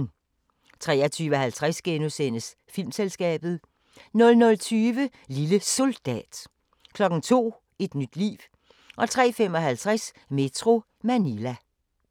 23:50: Filmselskabet * 00:20: Lille Soldat 02:00: Et nyt liv 03:55: Metro Manila